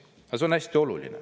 Aga see on hästi oluline.